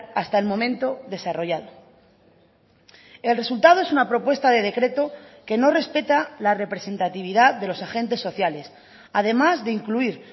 hasta el momento desarrollado el resultado es una propuesta de decreto que no respeta la representatividad de los agentes sociales además de incluir